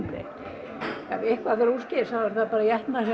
ef eitthvað fer úrskeiðis þá eru þær bara étnar